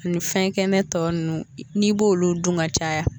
Ani fɛn kɛnɛ tɔ ninnu n'i b'olu dun ka caya